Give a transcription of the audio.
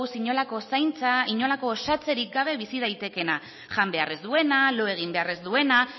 inolako zaintza inolako osatzerik gabe bizi daitekeena jan behar ez duena lo egin behar ez duena